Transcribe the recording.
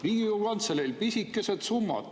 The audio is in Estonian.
Riigikogu Kantseleil pisikesed summad.